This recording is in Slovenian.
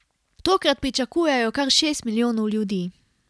Tokrat pričakujejo kar šest milijonov ljudi.